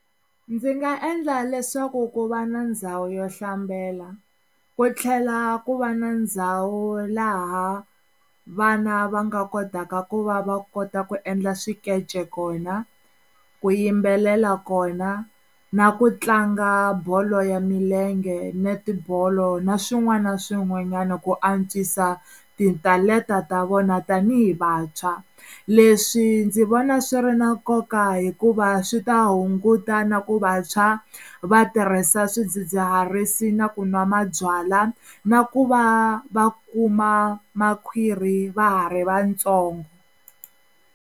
Ndzi nga endla leswaku ku va na ndhawu yo hlambela ku tlhela ku va na ndhawu laha vana va nga kotaka ku va va kota ku endla swikece kona, ku yimbelela kona na ku tlanga bolo ya milenge, netibolo na swin'wana na swin'wanyana ku antswisa titalenta ta vona tanihi vantshwa leswi ndzi vona swi ri na nkoka hikuva swi ta hunguta na ku vantshwa va tirhisa swidzidziharisi na kunwa mabyala na ku va va kuma makhwiri va ha ri vatsongo.